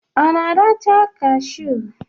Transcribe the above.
Ọ na-arachaa kashụ?